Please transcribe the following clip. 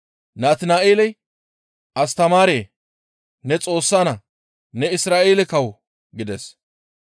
Natina7eeley, «Astamaaree! Ne Xoossa naa; Ne Isra7eele kawo» gides.